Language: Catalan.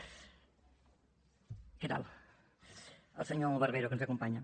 què tal al senyor barbero que ens acompanya